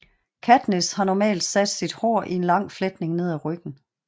Katniss har normalt sat sit hår i en lang fletning ned ad ryggen